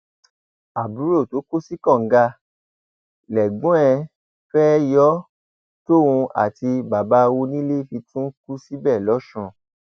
àbúrò tó kó sí kànga lẹgbọn ẹ fẹẹ yó tóun àti bàbá onílé fi tún kù síbẹ lọsùn